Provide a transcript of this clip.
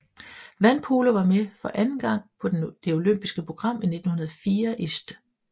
Vandpolo var med for anden gang på det olympiske program 1904 i St